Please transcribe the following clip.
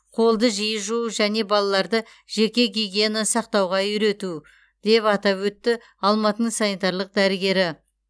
қолды жиі жуу және балаларды жеке гигиена сақтауға үйрету деп атап өтті алматының санитарлық дәрігері